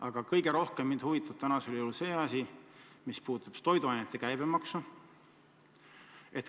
Aga kõige rohkem huvitab mind toiduainete käibemaks.